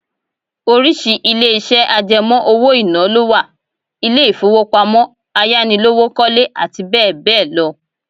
Oríṣi ilé iṣẹ́ àjẹmó owó-ìná lọ wà; ilé ifowopamo, Ayánilówókọ́lé, àti bẹẹ bẹẹ lọ.